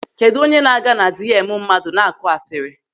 Kedụ onye na-aga na diemu mmadụ na-akụ asịrị?